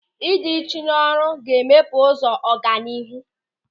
Ị dị uchu n'ọrụ ga-emepe ụzọ ọganihu.